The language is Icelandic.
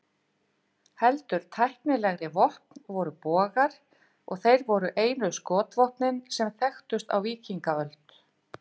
Heldur tæknilegri vopn voru bogar, og þeir voru einu skotvopnin sem þekktust á víkingaöld.